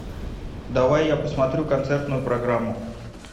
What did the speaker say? давай я посмотрю концертную программу